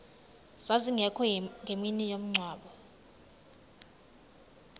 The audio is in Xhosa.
zazingekho ngemini yomngcwabo